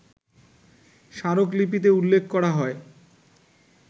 স্মারকলিপিতে উল্লেখ করা হয়